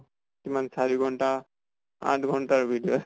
কিমান চাৰি ঘন্টা ? আঠ ঘন্টা ৰ video আছে ।